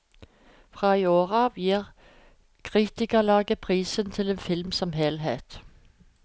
Fra i år av gir kritikerlaget prisen til en film som helhet.